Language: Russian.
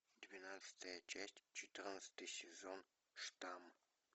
двенадцатая часть четырнадцатый сезон штамм